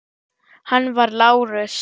Hann var Lárus